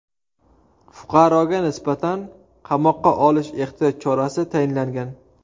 Fuqaroga nisbatan qamoqqa olish ehtiyot chorasi tayinlangan.